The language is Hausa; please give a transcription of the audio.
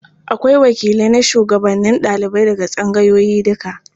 Akwai wakilai na shugabannin ɗalibai daga tsangayoyi duka.